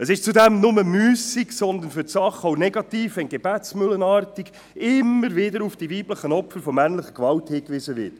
Es ist zudem nicht nur müssig, sondern für die Sache auch negativ, wenn gebetsmühlenartig immer wieder auf die weiblichen Opfer männlicher Gewalt hingewiesen wird.